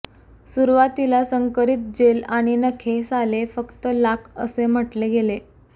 सुरुवातीला संकरीत जेल आणि नखे साले फक्त लाख असे म्हटले गेले